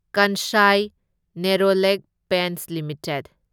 Kansai Nerolac Paints limited